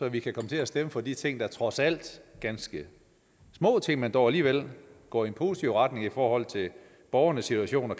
at vi kan stemme for de ting der trods alt er ganske små ting men som dog alligevel går i en positiv retning i forhold til borgernes situation og